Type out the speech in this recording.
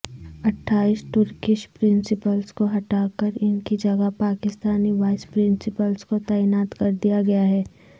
اٹھائیس ٹرکش پرنسپلزکوہٹاکران کی جگہ پاکستانی وائس پرنسپلزکو تعینات کردیا گیا ہے